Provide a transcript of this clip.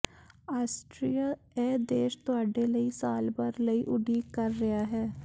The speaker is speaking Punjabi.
ਆਸਟਰੀਆ ਇਹ ਦੇਸ਼ ਤੁਹਾਡੇ ਲਈ ਸਾਲ ਭਰ ਲਈ ਉਡੀਕ ਕਰ ਰਿਹਾ ਹੈ